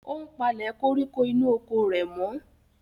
Ó ń palẹ̀ koríko inú oko rẹ̀ mọ́.